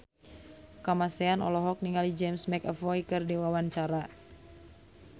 Kamasean olohok ningali James McAvoy keur diwawancara